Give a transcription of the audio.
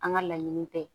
An ka laɲiniini tɛ